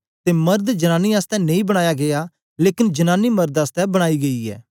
ते मर्द जनांनी आसतै नेई बनाया गीया लेकन जनांनी मर्द आसतै बनाई गेई ऐ